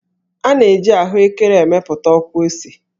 A na-eji ahụékéré emepụta ọkwụose